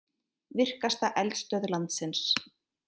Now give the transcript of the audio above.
Virkasta eldstöð landsins